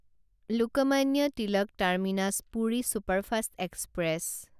Lokmanya Tilak terminus Puri superfast express